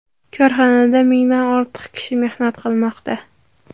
Korxonada mingdan ortiq kishi mehnat qilmoqda.